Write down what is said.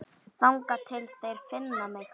Þangað til þeir finna mig.